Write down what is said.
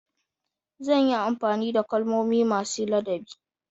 Zan yi amfani da kalmomi masu ladabi.